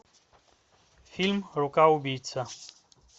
фильм рука убийца